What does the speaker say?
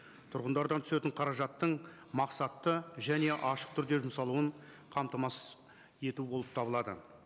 тұрғындардан түсетін қаражаттың мақсатты және ашық түрде жұмсалуын қамтамасыз ету болып табылады